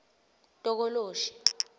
tokoloshi